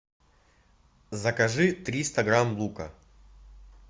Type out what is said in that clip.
закажи триста грамм лука